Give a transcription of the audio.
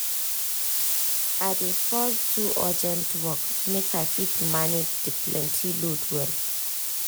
i dey first do urgent work make i fit manage the plenty load well.